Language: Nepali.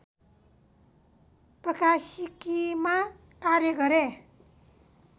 प्रकाशिकीमा कार्य गरे